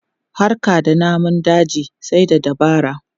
Harka da namun daji sai da dabara.